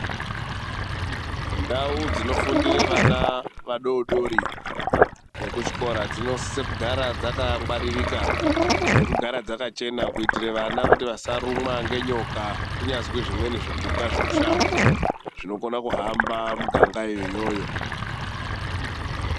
Ndau dzinofundira vana vadodori vekuchikora dzinosisa kugara vakangwaririka ngekugara dzakachena kuitara kuti vana vasharukwa nenyoka Vazwe zvimweni zvipika zvemusango zvinokona kuhamba muganga imomo.